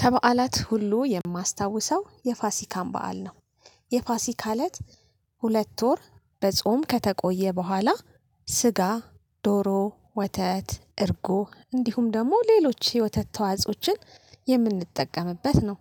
ከበዓላት ሁሉ የማስታውሰው የፋሲካን በዓል ነው። የፋሲካ አለት ሁለት ወር በጾም ከተቆየ በኋላ ስጋ፣ ዶሮ፣ ወተት፣ እርጎ እንዲሁም ደግሞ ሌሎች የወተት ተዋጾችን የምንጠቀምበት ነው።